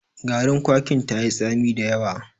Garin kwakin tayi tsami da yawa.